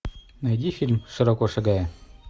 найди фильм широко шагая